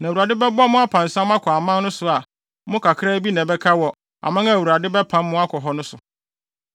Na Awurade bɛbɔ mo apansam akɔ aman so a mo mu kakraa bi na ɛbɛka wɔ aman a Awuradebɛpam mo akɔ so no so.